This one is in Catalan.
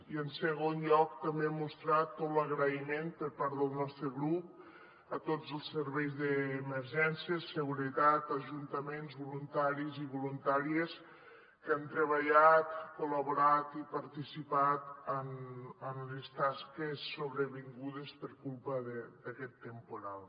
i en segon lloc també mostrar tot l’agraïment per part del nostre grup a tots els serveis d’emergències seguretat ajuntaments voluntaris i voluntàries que han treballat col·laborat i participat en les tasques sobrevingudes per culpa d’aquest temporal